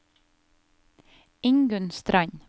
Ingunn Strand